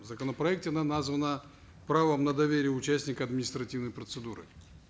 в законопроекте она названа правом на доверие участника административной процедуры